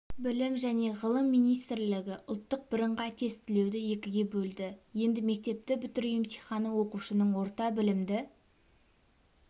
білім және ғылым министрлігі ұлттық бірыңғай тестілеуді екіге бөлді енді мектепті бітіру емтиіаны оқушының орта білімді